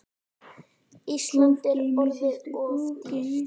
Ísland er orðið of dýrt.